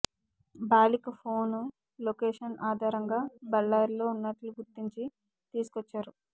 బాలిక phone location ఆధారంగా బళ్లారిలో ఉన్నట్లు గుర్తించి తీసుకొచ్చారు